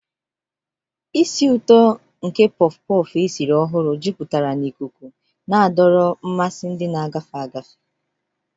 Isii ụtọ nke porff-porff esiri ọhụrụ jupụtara n'ikuku, na-adọrọ mmasị ndị na-agafe agafe.